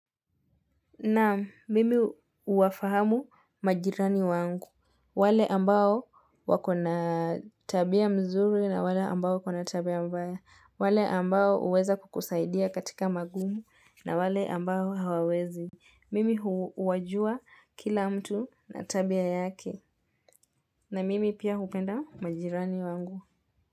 Naam mimi uwafahamu majirani wangu, wale ambao wako na tabia mzuri na wale ambao wako na tabia mbaya, wale ambao huweza kukusaidia katika magumu na wale ambao hawawezi. Mimi huwajua kila mtu na tabia yake na mimi pia hupenda majirani wangu.